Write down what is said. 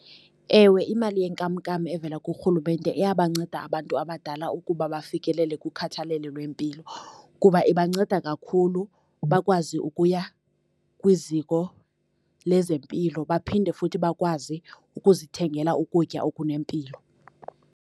Ewe imali yenkamnkam evela kurhulumente iyabanceda abantu abadala ukuba bafikelele kukhathalelo lwempilo, kuba ibanceda kakhulu bakwazi ukuya kwiziko lezempilo baphinde futhi bakwazi ukuzithengela ukutya okunempilo.